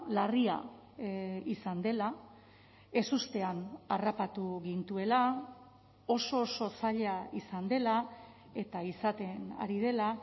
larria izan dela ezustean harrapatu gintuela oso oso zaila izan dela eta izaten ari dela